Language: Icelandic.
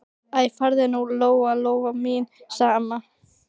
Æ, farðu nú, Lóa-Lóa mín, sagði amma.